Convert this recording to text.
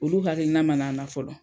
Olu hakilina mana na fɔlɔ.